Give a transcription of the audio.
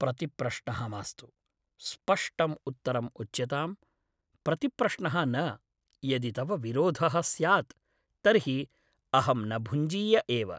प्रतिप्रश्नः मास्तु । स्पष्टम् उत्तरम् उच्यताम् । प्रतिप्रश्नः न । यदि तव विरोधः स्यात् तर्हि अहं न भुञ्जीय एव ।